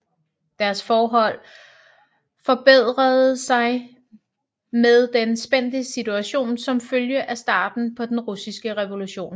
Deres forhold forbedrede sig med den spændte situation som følge af starten på den russiske revolution